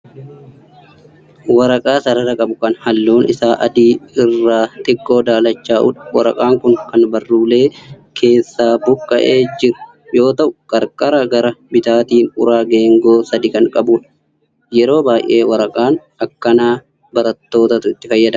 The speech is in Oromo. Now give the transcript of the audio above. Waraqaa sarara qabu kan halluun isaa adii irraa xiqqoo daalachaa'udha. Waraqaan kun kan baruullee keessaa buqqa'ee jiru yoo ta'u qarqara gara bitaatiin uraa geengoo sadii kan qabudha. Yeroo baay'ee waraqaa akkanaa barattootatu itti fayyadama.